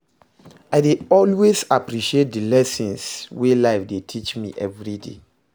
I dey always appreciate di lessons wey life dey teach me evriday